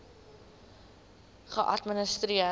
thrip geadministreer